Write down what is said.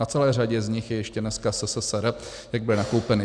Na celé řadě z nich je ještě dneska SSSR, jak byly nakoupeny.